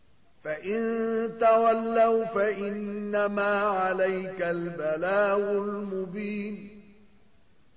فَإِن تَوَلَّوْا فَإِنَّمَا عَلَيْكَ الْبَلَاغُ الْمُبِينُ